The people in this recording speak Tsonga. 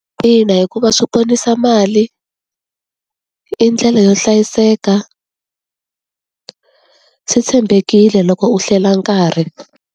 Ina hikuva swi ponisa mali i ndlela yo hlayiseka. Swi tshembekile loko u hlela nkarhi.